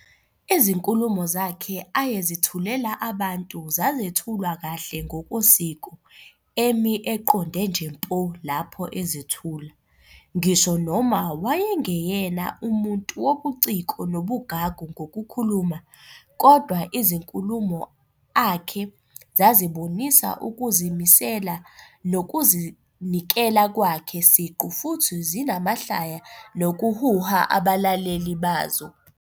Izinkulumo zakhe ayezethulela abantu zazethulwa kahle ngokosiko, emi eqonde nje mpo lapho ezethula. Ngisho noma wayengeyena umuntu wobuciko nobugagu ngokukhuluma, kodwa izinkulumo akhe zazibonisa ukuzimisela nokuzinikela kwakhe "siqu, futhi zinamahlaya nokuhuha abalaleli bazo".